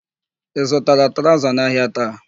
Ị zutara traụza n'ahịa taa?